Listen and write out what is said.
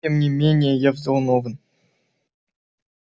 тем не менее я взволнован